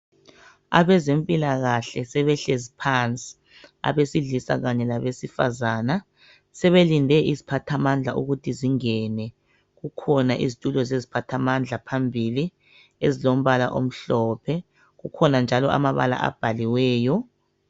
Abezempilakahle sebehlezi phansi abesilisa kanye labesifazana sebelinde iziphathamandla ukuthi zingene kukhona izitulo zeziphathamandla phambile ezilompala omhlophe kukhona njalo amabala abhaliweyo.